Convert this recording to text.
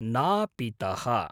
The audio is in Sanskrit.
नापितः